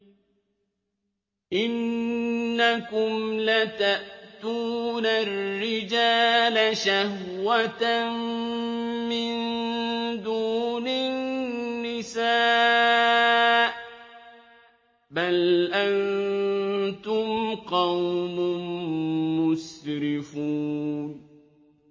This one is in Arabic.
إِنَّكُمْ لَتَأْتُونَ الرِّجَالَ شَهْوَةً مِّن دُونِ النِّسَاءِ ۚ بَلْ أَنتُمْ قَوْمٌ مُّسْرِفُونَ